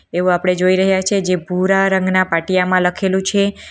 એવું આપણે જોઈ રહ્યા છે જે ભૂરા રંગના પાટિયામાં લખેલું છે.